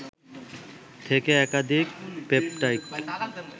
থেকে একাধিক পেপটাইড